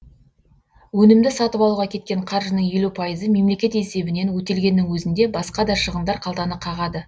өнімді сатып алуға кеткен қаржының елу пайызы мемлекет есебінен өтелгеннің өзінде басқа да шығындар қалтаны қағады